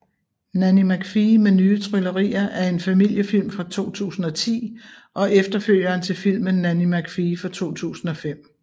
Nanny McPhee med nye tryllerier er en familiefilm fra 2010 og efterfølgeren til filmen Nanny McPhee fra 2005